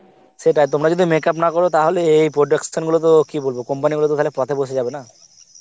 সেটাই তোমরা যদি makeup না কর তাহলে এ~ এই production গুলো তো কি বলব company গুলো তো পথে বসে যাবে না